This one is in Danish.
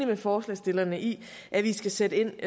med forslagsstillerne i at vi skal sætte ind